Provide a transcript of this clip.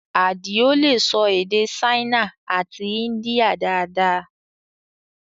Adio lè sọ èdè Ṣáínà àti India dáadáa